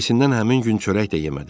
Hisindən həmin gün çörək də yemədi.